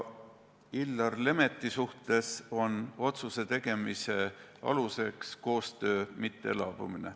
Illar Lemetti suhtes on otsuse tegemise aluseks koostöö mittelaabumine.